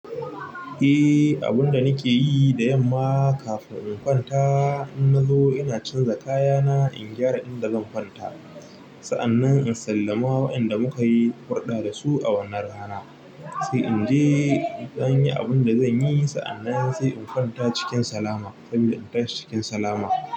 Eh, abun da nike yi da yamma kafin in kwanta, in nazo ina canza kayana, in gyara inda zan kwanta. Sa'annan in sallama wa inda muka yi hurɗa da su a wannan rana. Sai in je idan yi abin da zanyi, sa'annan sai in kwanta cikin salama, saboda in tashi cikin salama.